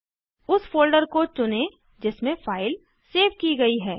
उस फोल्डर को चुनें जिसमें फाइल सेव की गयी है